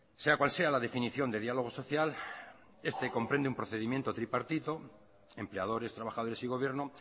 sea cual sea la definición de diálogo social este comprende un procedimiento tripartito empleadores trabajadores y gobierno